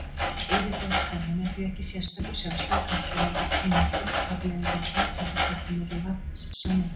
Yfirborðsspennan er því ekki sérstakur, sjálfstæður kraftur heldur einföld afleiðing af aðdráttarkröftum milli vatnssameindanna.